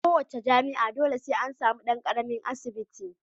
A kowa ce jami'a dole sai an samu dan karamin asibiti.